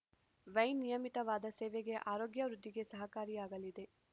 wine ನಿಯಮಿತವಾದ ಸೇವನೆ ಆರೋಗ್ಯವೃದ್ಧಿಗೆ ಸಹಕಾರಿಯಾಗಲಿದೆ